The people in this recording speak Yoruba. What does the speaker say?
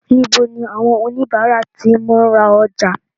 Níbo ni àwọn oníbàárà ti máa ń ra ọjà?